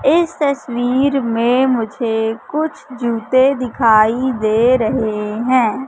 इस तस्वीर में मुझे कुछ जूते दिखाई दे रहे हैं।